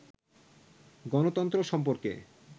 গণতন্ত্র সম্পর্কে